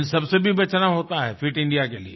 इन सब से भी बचना होता है फिट इंडिया के लिए